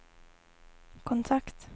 kontakt